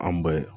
An ba ye